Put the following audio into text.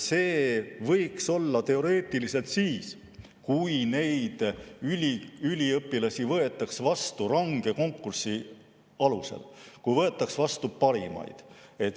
See võiks teoreetiliselt olla nii siis, kui neid üliõpilasi võetaks vastu range konkursi alusel, kui võetaks vastu parimaid.